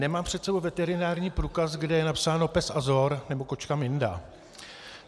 Nemám před sebou veterinární průkaz, kde je napsáno pes Azor nebo kočka Minda.